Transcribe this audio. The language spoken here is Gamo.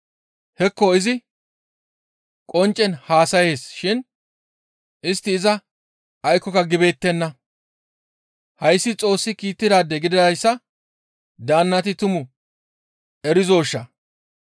Hekko izi qonccen haasayees shin istti iza aykkoka gibeettenna. Hayssi Xoossi kiittidaade gididayssa daannati tumu erizoshaa?